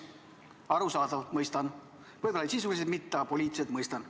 Arusaadav, mõistan – võib-olla sisuliselt mitte, aga poliitiliselt mõistan.